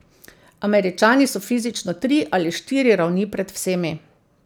Američani so fizično tri ali štiri ravni pred vsemi.